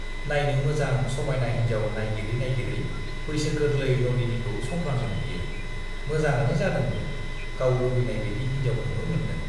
नाइनो मोजां समाइना हिन्जाव नाइगिरै नाइगिरै बैसो गोरलै नलिनीखौ संफ्लांदों बियो, मोजाङानो जादोंबो, गाव लुबैनाय बाइदि हिन्जावखौनो मोनदों।